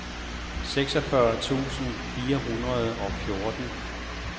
seksogfyrre tusind fire hundrede og fjorten